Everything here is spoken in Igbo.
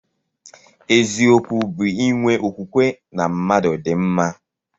Eziokwu bu inwe okwukwe na mmadu di mma.